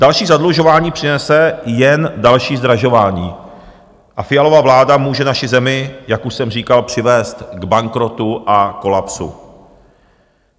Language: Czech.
Další zadlužování přinese jen další zdražování a Fialova vláda může naši zemi, jak už jsem říkal, přivést k bankrotu a kolapsu.